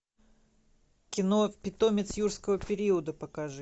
кино питомец юрского периода покажи